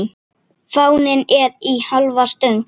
Fáninn er í hálfa stöng.